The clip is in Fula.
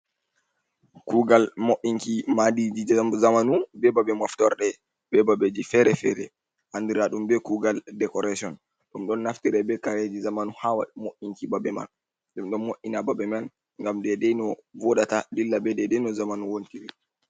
Kugal mo’inki madiji jamanu, be babe moftorde, be babeji fere fere. Andira ɗum be kugal dekoreshin. Ɗum ɗon naftire be kareji jamanu ha mo’’inki babe man ɗum ɗo mo’ina babe man gam daidai no woɗata, dilla be dedai no jamanu wonti ri.